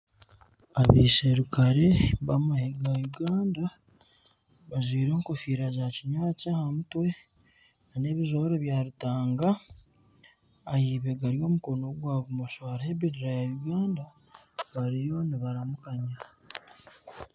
Abasirukare bamwe aba Uganda bajwaire enkofiira za kinyaatsi aha mutwe n'ebijwaro byarutanga ahaibega ry'omukono gwa bumosho hariho ebendera ya Uganda bariyo nibaramukanya.